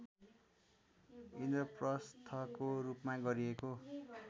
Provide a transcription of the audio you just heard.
इन्द्रप्रस्थको रूपमा गरिएको